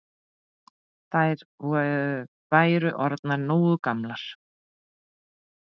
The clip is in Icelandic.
Þær væru orðnar nógu gamlar.